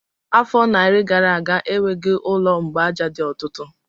Afọ narị gara aga, enweghị ụlọ mgbaaja dị otutu